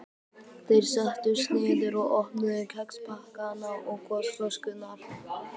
Þeir settust niður og opnuðu kexpakkana og gosflöskurnar.